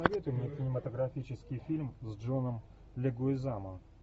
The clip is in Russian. посоветуй мне кинематографический фильм с джоном легуизамо